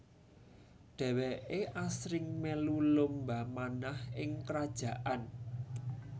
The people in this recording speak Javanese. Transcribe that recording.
Dheweke asring melu lomba manah ing kerajaan